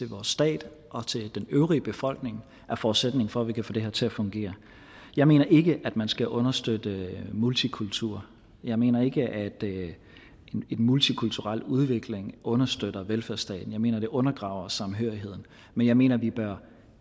vores stat og den øvrige befolkning er forudsætningen for at vi kan få det her til at fungere jeg mener ikke at man skal understøtte multikultur jeg mener ikke at en multikulturel udvikling understøtter velfærdsstaten jeg mener at det undergraver samhørigheden men jeg mener at vi bør